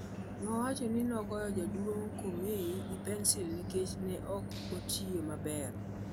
Owacho ni nogoyo jaduong' Comey gi pensil nikech ne ok otiyo maber.